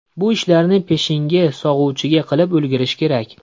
Bu ishlarni peshingi sog‘uvgacha qilib ulgurish kerak.